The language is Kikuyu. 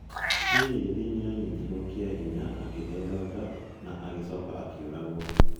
Phylis nĩ aanyitirũo kĩa hinya, akĩheo nda, na agĩcoka akĩũragwo.